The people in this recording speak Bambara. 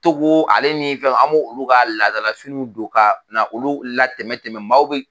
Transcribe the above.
Togo ale ni fɛw , an b' olu ka ladalafiniw don ka na olu la tɛmɛ tɛmɛ maaw bɛ